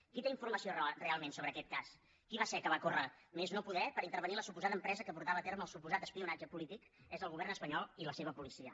qui té informació realment sobre aquest cas qui va ser que va córrer a més no poder per intervenir la suposada empresa que portava a terme el suposat espionatge polític és el govern espanyol i la seva policia